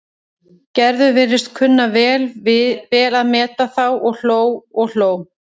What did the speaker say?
Gerður virtist kunna vel að meta þá og hló og hló.